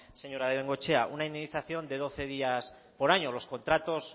señora bengoechea una indemnización de doce días por año los contratos